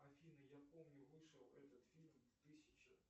афина я помню вышел этот фильм в тысяча